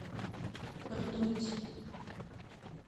ртуть